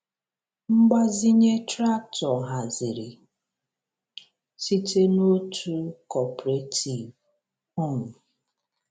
Mgbazinye traktọ haziri site n’otu cooperative. um